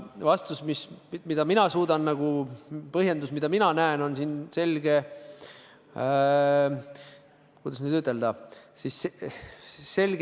Põhjendus, mille mina suudan anda, mida mina näen, on selge – kuidas nüüd ütelda?